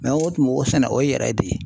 Mɛ o tun b'o sɛnɛ o ye yɛrɛ de ye .